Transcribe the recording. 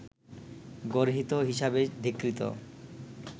গর্হিত হিসাবে ধীকৃত